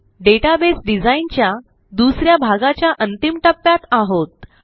database design च्या दुस या भागाच्या अंतिम टप्प्यात आहोत